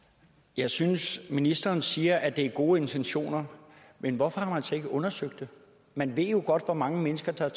jeg synes ministeren siger at det er gode intentioner men hvorfor har man så ikke undersøgt det man ved jo godt hvor mange mennesker der er